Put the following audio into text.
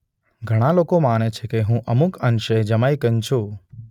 ઘણાં લોકો માને છે કે હું અમુક અંશે જમૈકન છું